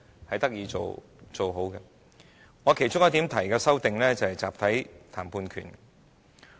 我提出的其中一項修訂，便是"集體談判權"。